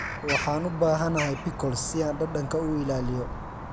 Waxaan u baahanahay pickles si aan dhadhanka u ilaaliyo.